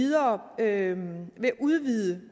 ikke ved at udvide